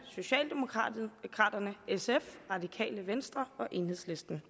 socialdemokraterne sf radikale venstre og enhedslisten